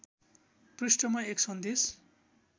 पृष्ठमा एक सन्देश